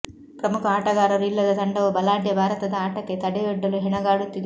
ಪ್ರಮುಖ ಆಟಗಾರರು ಇಲ್ಲದ ತಂಡವು ಬಲಾಢ್ಯ ಭಾರತದ ಆಟಕ್ಕೆ ತಡೆಯೊಡ್ಡಲು ಹೆಣಗಾಡುತ್ತಿದೆ